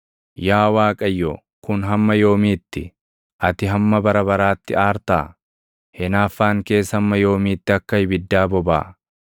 Yaa Waaqayyo, kun hamma yoomiitti? Ati hamma bara baraatti aartaa? Hinaaffaan kees hamma yoomiitti akka ibiddaa bobaʼa?